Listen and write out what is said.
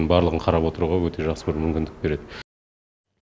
барлығын қарап отыруға өте жақсы бір мүмкіндік береді